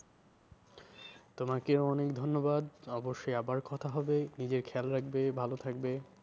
তোমাকেও অনেক ধন্যবাদ অবশ্যই আবার কথা হবে নিজের খেয়াল রাখবে ভালো থাকবে।